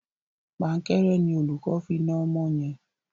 Pankẹ́rẹ́ ni olùkó fi na ọmọ yẹn.